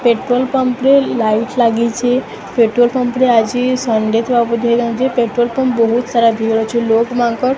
petrol ରେ light ଲାଗିଚି petrol pump ରେ ଆଜି ଷଣ୍ଡେ ଥିବା ବଧେ ପେଟ୍ରୋଲ ପମ୍ପ ବହୁତ ଭିଡ ଅଛି ଲୋକ ମାନଙ୍କର --